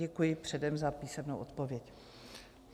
Děkuji předem za písemnou odpověď.